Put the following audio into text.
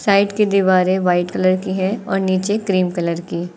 Side की दीवारें white colour की है और नीचे क्रिम कलर की।